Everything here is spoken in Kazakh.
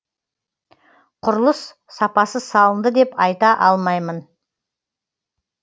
құрылыс сапасыз салынды деп айта алмаймын